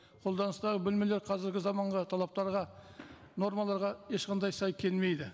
қолданыстағы бөлмелер қазіргі заманға талаптарға нормаларға ешқандай сай келмейді